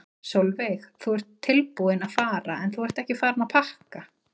Sólveig: Þú ert tilbúinn að fara en þú ert ekki farinn að pakka?